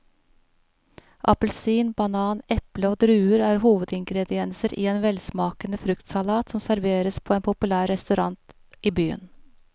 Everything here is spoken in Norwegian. Appelsin, banan, eple og druer er hovedingredienser i en velsmakende fruktsalat som serveres på en populær restaurant i byen.